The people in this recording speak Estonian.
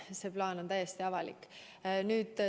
See plaan on täiesti avalik.